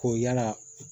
Ko yala